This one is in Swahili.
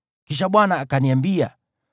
Kisha Bwana akaniambia,